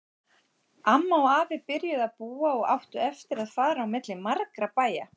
Amma og afi byrjuðu að búa og áttu eftir að fara á milli margra bæja.